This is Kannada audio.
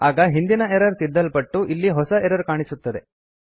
ಆಗ ಹಿಂದಿನ ಎರರ್ ತಿದ್ದಲ್ಪಟ್ಟು ಅಲ್ಲಿ ಹೊಸ ಎರರ್ ಕಾಣಸಿಗುತ್ತದೆ